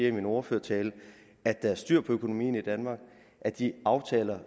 i min ordførertale at der er styr på økonomien i danmark og at de aftaler